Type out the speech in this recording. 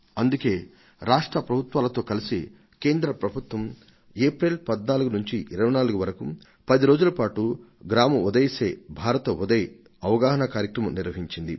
అందుకే రాష్ట్ర ప్రభుత్వాలతో కలసి కేంద్ర ప్రభుత్వం ఏప్రిల్ 14 నుంచి 24 వరకు పది రోజుల పాటు గ్రామ ఉదయ్ సే భారత్ ఉదయ్ అవగాహనా కార్యక్రమాన్ని తీసుకొంది